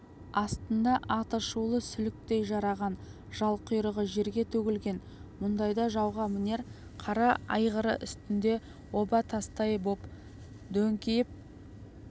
астында аты шулы сүліктей жараған жалқұйрығы жерге төгілген мұндайда жауға мінер қара айғыры үстінде оба тастай боп дөңкиіп